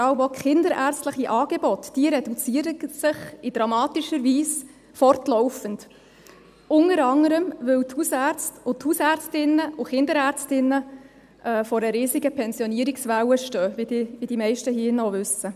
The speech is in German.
Die haus- und vor allem auch kinderärztlichen Angebote reduzieren sich in dramatischer Weise fortlaufend, unter anderem, weil die Hausärzte, Hausärztinnen und Kinderärztinnen vor einer riesigen Pensionierungswelle stehen, wie die meisten hier in diesem Saal wissen.